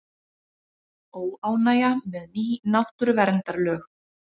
Óánægja með ný náttúruverndarlög